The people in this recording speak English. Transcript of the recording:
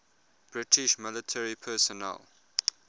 british military personnel